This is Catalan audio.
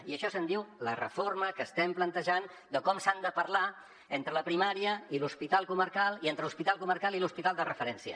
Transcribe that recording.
i d’això se’n diu la reforma que estem plantejant de com s’han de parlar entre la primària i l’hospital comarcal i entre l’hospital comarcal i l’hospital de referència